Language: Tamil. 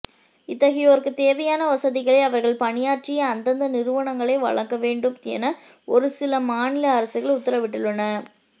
இத்தகையோருக்கு தேவையான வசதிகளை அவர்கள் பணியாற்றிய அந்தந்த நிறுவனங்களே வழங்க வேண்டும் என ஒரு சில மாநில அரசுகள் உத்தரவிட்டுள்ளன